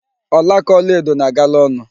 Ọlaáká ọlaedo na-agala ọnụ.